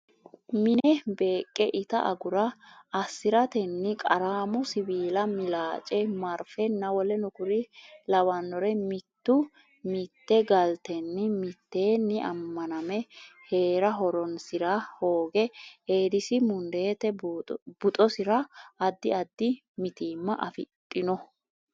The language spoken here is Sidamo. mi ne beeqqe ita agura assi ratenni Qaraamo siwiila milaace marfenna w k l Mittu mitte galtenni mitteenni ammaname hee ra horonsi rahooga Eedisi mundeete buuxoassi ra Addi addi mitiimma afidhino.